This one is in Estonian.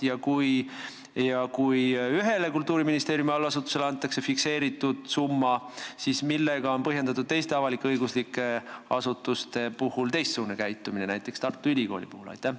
Ja kui ühele Kultuuriministeeriumi allasutusele tagatakse fikseeritud summa, siis millega on põhjendatud teistsugune käitumine teiste avalik-õiguslike asutustega, näiteks Tartu Ülikooliga?